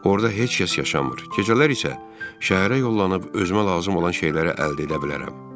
Orda heç kəs yaşamır, gecələr isə şəhərə yollanıb özümə lazım olan şeyləri əldə edə bilərəm.